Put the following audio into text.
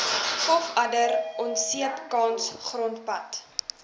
pofadder onseepkans grondpad